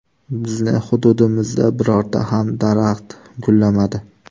Bizning hududimizda birorta ham daraxt gullamadi.